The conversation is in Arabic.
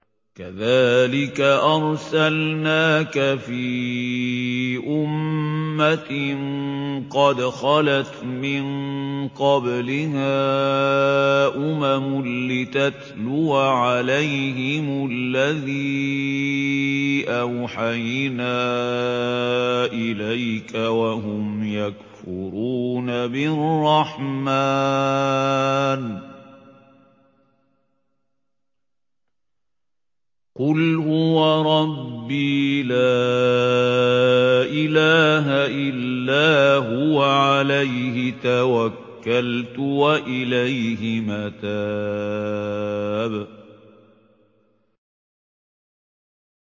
كَذَٰلِكَ أَرْسَلْنَاكَ فِي أُمَّةٍ قَدْ خَلَتْ مِن قَبْلِهَا أُمَمٌ لِّتَتْلُوَ عَلَيْهِمُ الَّذِي أَوْحَيْنَا إِلَيْكَ وَهُمْ يَكْفُرُونَ بِالرَّحْمَٰنِ ۚ قُلْ هُوَ رَبِّي لَا إِلَٰهَ إِلَّا هُوَ عَلَيْهِ تَوَكَّلْتُ وَإِلَيْهِ مَتَابِ